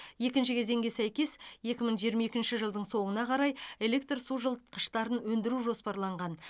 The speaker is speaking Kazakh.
екінші кезеңге сәйкес екі мың жиырма екінші жылдың соңына қарай электр су жылытқыштарын өндіру жоспарланған